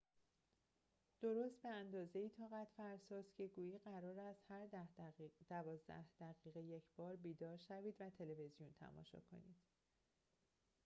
درست به‌اندازه‌ای طاقت‌فرساست که گویی قرار است هر ده دوازده دقیقه یکبار بیدار شوید و تلویزیون تماشا کنید